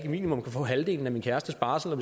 minimum kan få halvdelen af min kærestes barsel